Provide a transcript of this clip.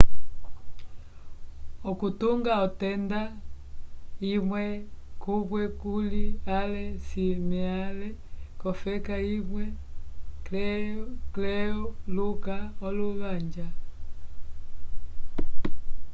okutunga otenda imwe kumwe kuli ale cimeale kofeka imwe cleluka okuvanja